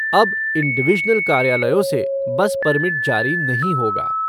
अब इन डिवीज़नल कार्यालयों से बस परमिट जारी नहीं होगा।